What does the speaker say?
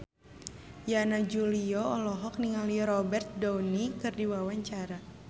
Yana Julio olohok ningali Robert Downey keur diwawancara